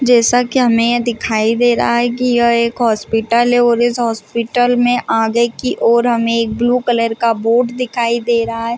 जैसा की हमे यहाँ दिखाई दे रहा है की यह एक हॉस्पिल है और इस होस्पिटल में आगे की ओर हमे एक ब्लू कलर का बोर्ड दिखाई दे रहा है।